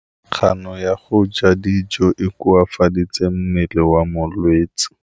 Kganô ya go ja dijo e koafaditse mmele wa molwetse.